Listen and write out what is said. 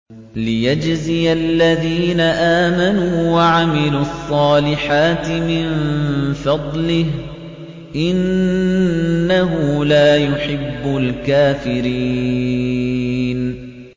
لِيَجْزِيَ الَّذِينَ آمَنُوا وَعَمِلُوا الصَّالِحَاتِ مِن فَضْلِهِ ۚ إِنَّهُ لَا يُحِبُّ الْكَافِرِينَ